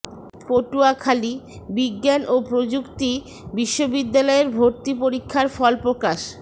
পটুয়াখালী বিজ্ঞান ও প্রযুক্তি বিশ্ববিদ্যালয়ের ভর্তি পরীক্ষার ফল প্রকাশ